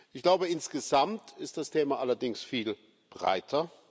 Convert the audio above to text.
Ich glaube, insgesamt ist das Thema allerdings viel breiter.